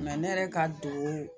ne yɛrɛ ka don